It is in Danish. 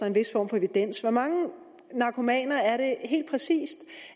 en vis form for evidens hvor mange narkomaner er det helt præcis